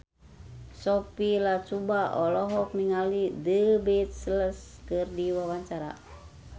Sophia Latjuba olohok ningali The Beatles keur diwawancara